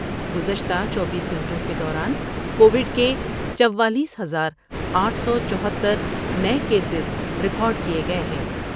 گذشتہ چوبیس گھنٹوں کے دوران کووڈ کے چوالیس ہزار آٹھ سو چوہتر نئے کیسز ریکارڈ کئے گئے ہیں ۔